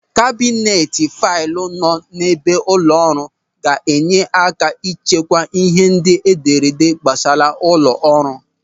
Kabinet faịlụ nọ n'ebe ụlọ ọrụ ga-enye aka ịchekwa ịhe ndị edere gbasara ụlọ ọrụ.